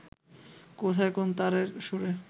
কোথায় কোন তারের সুরে